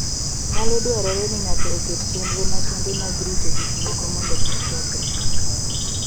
Nyalo dwarore ni ng'ato oket chenro makende mag rito gik moko mondo kik kethre.